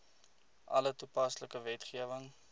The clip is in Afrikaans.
alle toepaslike wetgewing